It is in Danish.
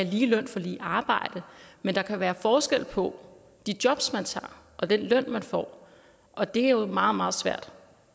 lige løn for lige arbejde men der kan være forskel på de jobs man tager og den løn man får og det er jo meget meget svært